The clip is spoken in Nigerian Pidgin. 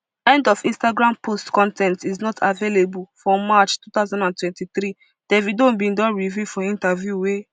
end of instagram post con ten t is not available for march two thousand and twenty-three davido bin reveal for interview wey